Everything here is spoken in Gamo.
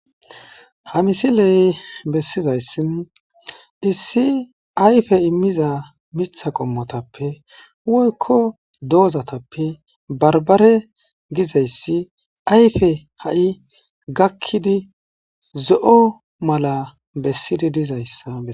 Ha misiley bessizayssin issi ayfe immiza mitha qommotappe woykko doozatappe barbare gizayssi ayfe ha'i gakkidi zo'o mala bessidi dizayssa.